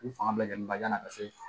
U fanga bɛ ni bajan na ka se